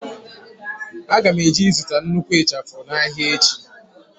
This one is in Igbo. Aga m eje ịzụta nnukwu ịchafụ n'ahịa echi.